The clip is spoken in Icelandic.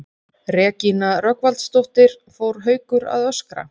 Regína Rögnvaldsdóttir: Fór Haukur að öskra?